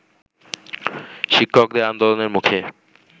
শিক্ষকদের আন্দোলনের মুখে